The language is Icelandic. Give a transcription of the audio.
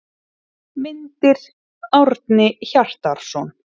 Myndir: Árni Hjartarson.